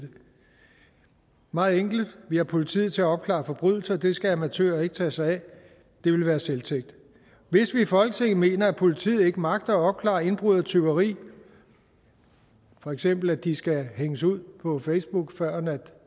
meget enkelt vi har politiet til at opklare forbrydelser det skal amatører ikke tage sig af det ville være selvtægt hvis vi i folketinget mener at politiet ikke magter at opklare indbrud og tyveri for eksempel at de skal hænges ud på facebook førend